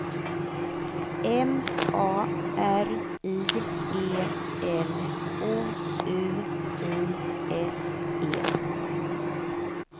M A R I E L O U I S E